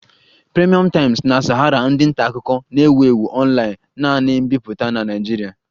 Premium Times na Sahara ndị nta akụkọ na-ewu ewu online-naanị mbipụta na Nigeria